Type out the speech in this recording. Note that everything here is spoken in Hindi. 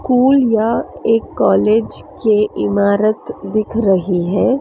स्कूल या एक कॉलेज के इमारत दिख रही है।